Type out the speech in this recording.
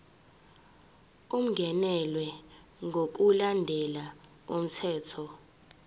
ungenelwe ngokulandela umthetho